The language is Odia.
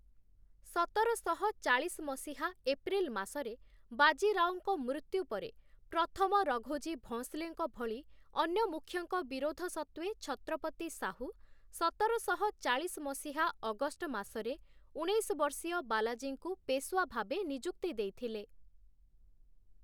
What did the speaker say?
ସତରଶହ ଚାଳିଶ ମସିହା ଏପ୍ରିଲ୍‌ ମାସରେ ବାଜିରାଓଙ୍କ ମୃତ୍ୟୁ ପରେ, ପ୍ରଥମ ରଘୋଜୀ ଭୋଁସଲେଙ୍କ ଭଳି ଅନ୍ୟ ମୁଖ୍ୟଙ୍କ ବିରୋଧ ସତ୍ତ୍ୱେ ଛତ୍ରପତି ସାହୁ ସତରଶହ ଚାଳିଶ ମସିହା ଅଗଷ୍ଟ ମାସରେ ଉଣେଇଶ ବର୍ଷୀୟ ବାଲାଜୀଙ୍କୁ ପେଶ୍‌ୱା ଭାବେ ନିଯୁକ୍ତି ଦେଇଥିଲେ ।